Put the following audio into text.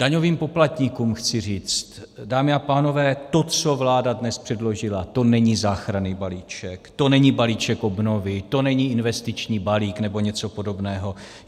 Daňovým poplatníkům chci říct, dámy a pánové, to, co vláda dnes předložila - to není záchranný balíček, to není balíček obnovy, to není investiční balík nebo něco podobného.